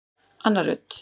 Anna Rut.